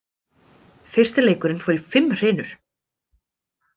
Fyrsti leikurinn fór í fimm hrinur